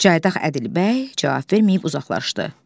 Cayaq Ədilbəy cavab verməyib uzaqlaşdı.